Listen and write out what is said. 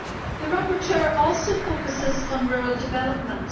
The rapporteur also focuses on rural development.